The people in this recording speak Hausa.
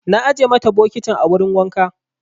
Na ajiye mata bokitin a wurin wanka.